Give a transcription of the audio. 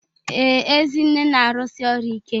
Ee, Ezinne na-arụsi ọrụ ike